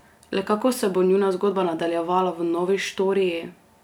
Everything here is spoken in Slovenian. Le kako se bo njuna zgodba nadaljevala v novi štoriji?